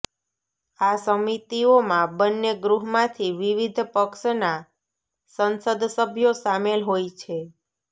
આ સમિતિઓમાં બંને ગૃહમાંથી વિવિધ પક્ષના સંસદસભ્યો સામેલ હોય છે